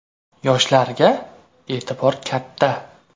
Yoshlarga e’tibor katta.